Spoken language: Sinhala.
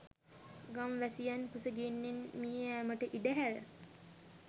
ගම් වැසියන් කුස ගින්නෙන් මිය යෑමට ඉඩ හැර